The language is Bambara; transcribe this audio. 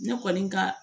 Ne kɔni ka